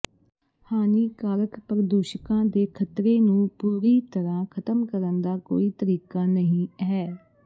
ਹਾਨੀਕਾਰਕ ਪ੍ਰਦੂਸ਼ਕਾਂ ਦੇ ਖ਼ਤਰੇ ਨੂੰ ਪੂਰੀ ਤਰਾਂ ਖ਼ਤਮ ਕਰਨ ਦਾ ਕੋਈ ਤਰੀਕਾ ਨਹੀਂ ਹੈ